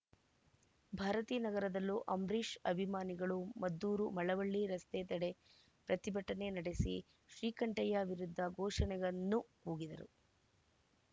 ಭಾರತೀನಗರದಲ್ಲೂ ಅಂಬರೀಷ್‌ ಅಭಿಮಾನಿಗಳು ಮದ್ದೂರು ಮಳವಳ್ಳಿ ರಸ್ತೆ ತಡೆ ಪ್ರತಿಭಟನೆ ನಡೆಸಿ ಶ್ರೀಕಂಠಯ್ಯ ವಿರುದ್ಧ ಘೋಷಣೆಗನ್ನು ಕೂಗಿದರು